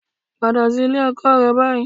Padà sí ilé ọkọ rẹ báyìí